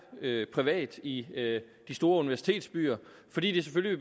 privat i de store universitetsbyer fordi det selvfølgelig